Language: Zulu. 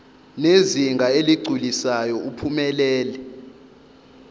ngezinga eligculisayo uphumelele